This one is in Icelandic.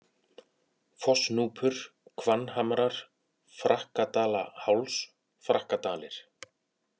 Fossnúpur, Hvannhamrar, Frakkadalaháls, Frakkadalir